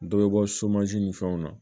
Dɔ bɛ bɔ ni fɛnw na